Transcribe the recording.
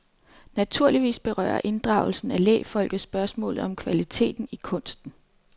Naturligvis berører inddragelsen af lægfolket spørgsmålet om kvalitet i kunsten.